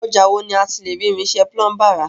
Ọjà wo ni a ti le rí irinṣẹ́ Púlúmbà ra?